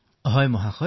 হয় মহোদয়